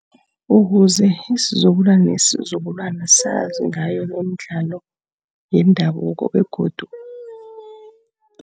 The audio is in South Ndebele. Ukuze isizukulwana nesizukulwana sazi ngayo lemidlalo yendabuko begodu